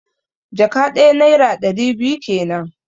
One bags means two hundred naira.